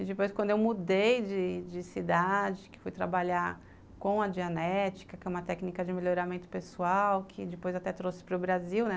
E depois, quando eu mudei de cidade, que fui trabalhar com a Dianética, que é uma técnica de melhoramento pessoal, que depois até trouxe para o Brasil, né?